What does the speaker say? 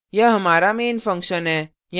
यह हमारा main function है